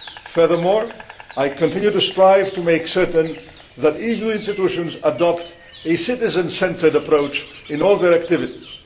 Furthermore, I continued to strive to make certain that EU institutions adopt a citizen centred approach in all their activities.